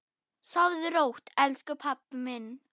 Sofðu rótt, elsku pabbi minn.